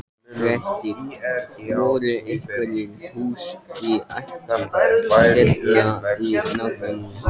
Fréttamaður: Voru einhver hús í hættu hérna í nágrenninu?